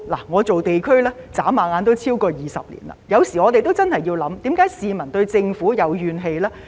我從事地區工作轉眼已超過20年，有時候我們真的要思考，為何市民對政府有怨氣呢？